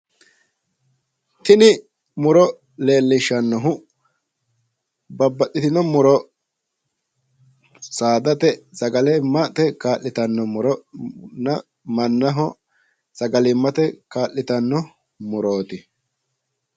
Tini muro leellishshannohu babaxitino muro saadate sagalimmate kaa'litanno muronna mannaho sagalimmate kaa'litannon murooti.